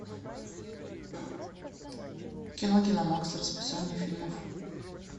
кино киномакс расписание фильмов